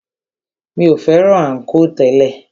Mi o fẹ́ràn ànkò tẹ́lẹ̀.